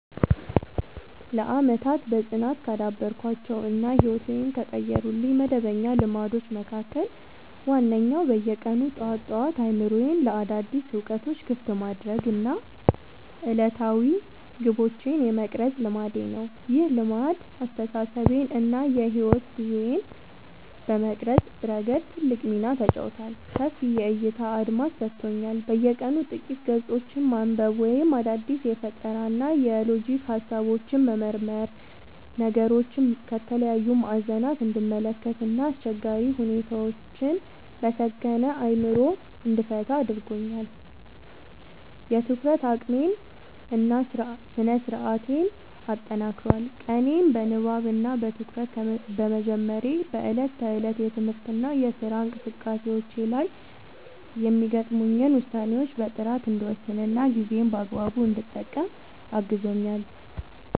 ለዓመታት በጽናት ካዳበርኳቸው እና ሕይወቴን ከቀየሩልኝ መደበኛ ልማዶች መካከል ዋነኛው በየቀኑ ጠዋት ጠዋት አእምሮዬን ለአዳዲስ እውቀቶች ክፍት የማድረግ እና ዕለታዊ ግቦቼን የመቅረጽ ልማዴ ነው። ይህ ልማድ አስተሳሰቤን እና የሕይወት ጉዞዬን በመቅረጽ ረገድ ትልቅ ሚና ተጫውቷል፦ ሰፊ የዕይታ አድማስ ሰጥቶኛል፦ በየቀኑ ጥቂት ገጾችን ማንበብ ወይም አዳዲስ የፈጠራና የሎጂክ ሃሳቦችን መመርመር ነገሮችን ከተለያዩ ማዕዘናት እንድመለከት እና አስቸጋሪ ሁኔታዎችን በሰከነ አእምሮ እንድፈታ ረድቶኛል። የትኩረት አቅሜን እና ስነ-ስርዓቴን አጠናክሯል፦ ቀኔን በንባብ እና በትኩረት በመጀመሬ በዕለት ተዕለት የትምህርትና የሥራ እንቅስቃሴዎቼ ላይ የሚገጥሙኝን ውሳኔዎች በጥራት እንድወስንና ጊዜዬን በአግባቡ እንድጠቀም አግዞኛል።